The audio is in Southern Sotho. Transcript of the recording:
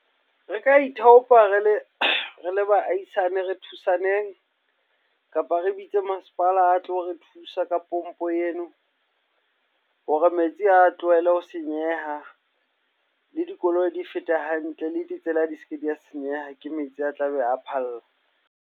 Re ka ithaopa re le baahisane, re thusaneng. Kapa re bitse masepala a tlo re thusa ka pompo eno hore metsi a tlohele ho senyeha. Le dikoloi di fete hantle, le ditsela di se ke di a senyeha ke metsi a tlabe a phalla.